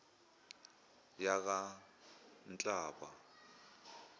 yakanhlaba